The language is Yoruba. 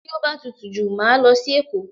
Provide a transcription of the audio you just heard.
Tí o bá tutù jù, màá lọ sí Èkó.